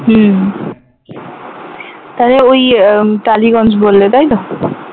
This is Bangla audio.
হুম তাহলে ওই টালিগঞ্জ বললে তাইতো?